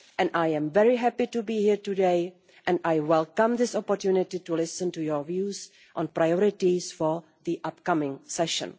I am very happy to be here today, and I welcome this opportunity to listen to your views on priorities for the upcoming session.